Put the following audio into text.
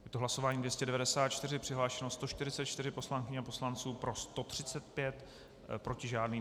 Je to hlasování 294, přihlášeno 144 poslankyň a poslanců, pro 135, proti žádný.